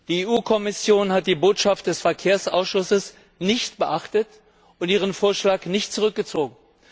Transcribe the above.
Die Kommission hat die Botschaft des Verkehrsausschusses nicht beachtet und ihren Vorschlag nicht zurückgezogen.